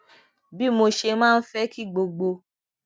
bí mo ṣe máa ń fé kí gbogbo